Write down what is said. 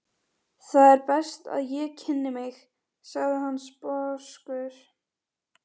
Það er best að ég kynni mig, sagði hann sposkur.